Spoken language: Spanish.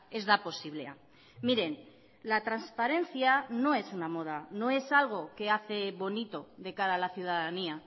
ez da posiblea miren la transparencia no es una moda no es algo que hace bonito de cara a la ciudadanía